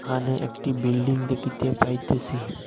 এহানে একটি বিল্ডিং দেখিতে পাইতেসি।